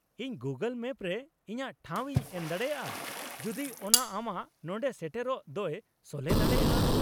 -ᱤᱧ Google map ᱨᱮ ᱤᱧᱟᱹᱜ ᱴᱷᱟᱶ ᱤᱧ ᱮᱢ ᱫᱟᱲᱮᱭᱟᱜᱼᱟ ᱡᱩᱫᱤ ᱚᱱᱟ ᱟᱢᱟᱜ ᱱᱚᱸᱰᱮ ᱥᱮᱴᱮᱨᱚᱜ ᱫᱚᱭ ᱥᱚᱞᱦᱮ ᱫᱟᱲᱮᱭᱟᱜᱼᱟ ᱾